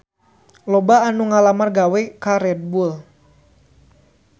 Loba anu ngalamar gawe ka Red Bull